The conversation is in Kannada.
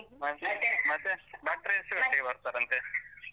ಭಟ್ರು ಎಷ್ಟ್ ಗಂಟೆಗೆ ಬರ್ತಾರಂತೆ?